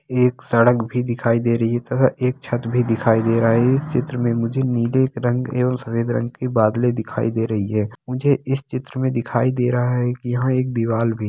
एक सड़क भी दिखाई दे रही है तथा एक छत भी दिखाई दे रहा है इस चित्र में मुझे नीले रंग एवं सफेद रंग के बादले दिखाई दे रही हैं मुझे इस चित्र में दिखाई दे रहा है कि यहां एक दीवाल भी--